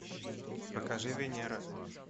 покажи венера